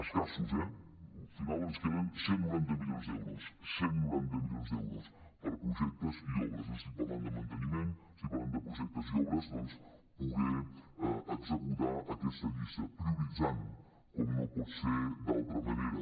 escassos eh al final ens queden cent i noranta milions d’euros cent i noranta milions d’euros per a projectes i obres no estic parlant de manteniment estic parlant de projectes i obres doncs per poder executar aquesta llista prioritzant com no pot ser d’altra manera